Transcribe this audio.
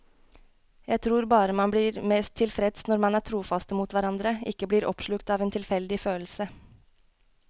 Jeg tror bare man blir mest tilfreds når man er trofaste mot hverandre, ikke blir oppslukt av en tilfeldig følelse.